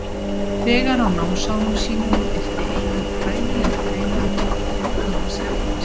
Þegar á námsárum sínum birti Einar fræðilegar greinar auk annars efnis.